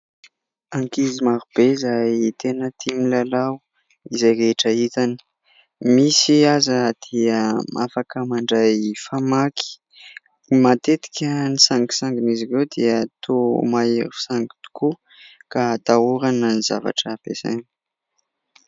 Ankizy marobe izay tena tia milalao izay rehetra hitany ; misy aza dia afaka mandray famaky matetika ny sangisangin'izy ireo dia toa mahery sangy tokoa ka atahorana ny zavatra ampiasainy.